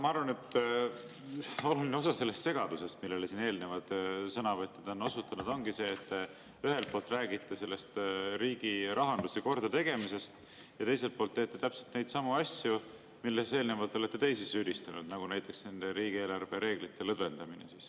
Ma arvan, et oluline osa segadusest, millele siin eelnevad sõnavõtjad on osutanud, ongi sellest, et te ühelt poolt räägite riigi rahanduse kordategemisest, aga teiselt poolt teete täpselt neidsamu asju, milles eelnevalt olete teisi süüdistanud, nagu näiteks riigieelarve reeglite lõdvendamine.